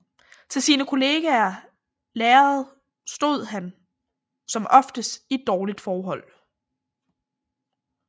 Til sine kollega lærere stod han som oftest i et dårligt forhold